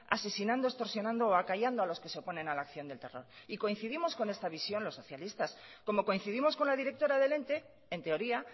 asesinando extorsionando o acallando a los que se oponen a la acción del terror y coincidimos con esta visión los socialistas como coincidimos con la directora del ente en teoría